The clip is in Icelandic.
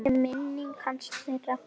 Blessuð sé minning hans, þeirra.